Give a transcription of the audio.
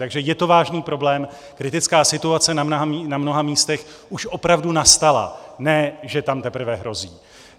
Takže je to vážný problém, kritická situace na mnoha místech už opravdu nastala, ne že tam teprve hrozí.